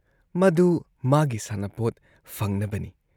ꯃꯗꯨ ꯃꯥꯒꯤ ꯁꯥꯟꯅꯄꯣꯠ ꯐꯪꯅꯕꯅꯤ ꯫